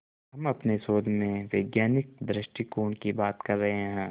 हम अपने शोध में वैज्ञानिक दृष्टिकोण की बात कर रहे हैं